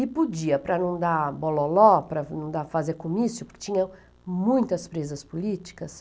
E podia, para não dar bololó, para não dá, fazer comício, porque tinha muitas presas políticas.